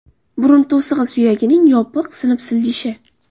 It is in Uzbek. Burun to‘sig‘i suyagining yopiq sinib siljishi.